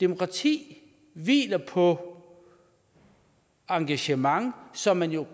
demokrati hviler på engagement som man jo